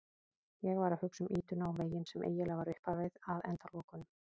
Ég hugsa um ýtuna og veginn sem eiginlega var upphafið að endalokunum.